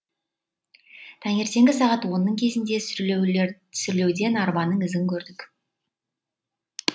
таңертеңгі сағат онның кезінде сүрлеуден арбаның ізін көрдік